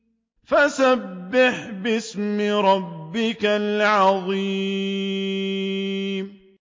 فَسَبِّحْ بِاسْمِ رَبِّكَ الْعَظِيمِ